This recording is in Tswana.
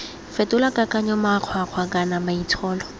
fetola kakanyo makgwakgwa kana maitsholo